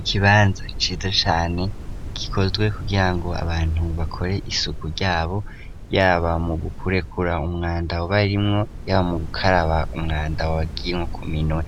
Ikibanza cize cane kikozwe kugira ngo abantu bakore isuku ryabo yaba mu gukurekura umwanda abarimwo yaba mu gukaraba umwanda waginko kuminwe